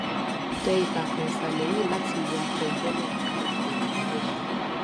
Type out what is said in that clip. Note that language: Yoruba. tẹ ìtàkùn ìṣàlẹ yìí láti wo apèjọ náà bí o kò wà níbẹ